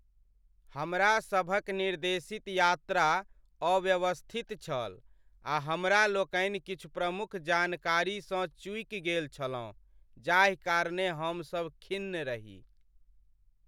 हमरा सभक निर्देशित यात्रा अव्यवस्थित छल आ हमरा लोकनि किछु प्रमुख जानकारीसँ चूकि गेल छलहुँ जाहि कारणेँ हमसभ खिन्न रही।